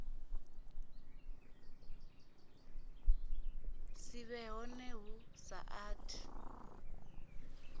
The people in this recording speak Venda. si vhe hone hu saathu